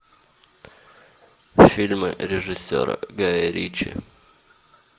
фильмы режиссера гая ричи